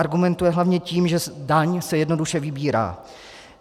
Argumentuje hlavně tím, že daň se jednoduše vybírá.